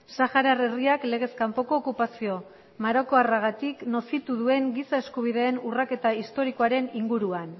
saharar herriak legez kanpoko okupazio marokoarragatik nozitu duen giza eskubideen urraketa historikoaren inguruan